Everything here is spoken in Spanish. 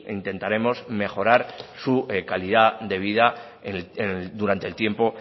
intentaremos mejorar su calidad de vida durante el tiempo